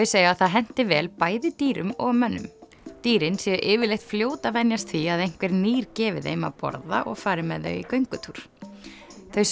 segja að það henti vel bæði dýrum og mönnum dýrin séu yfirleitt fljót að venjast því að einhver nýr gefi þeim að borða og fari með þau í göngutúr þau